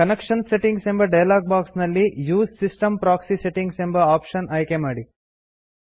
connection settings ಎಂಬ dialog box ನಲ್ಲಿ use system proxy settings ಎಂಬ ಓಪ್ಶನ್ ಆಯ್ಕೆ ಮಾಡಿ